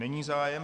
Není zájem.